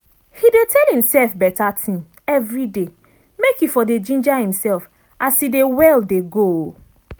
he dey tell imself better thing everyday make e for dey ginger imself as e dey well dey go.